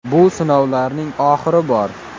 Bu sinovlarning oxiri bor.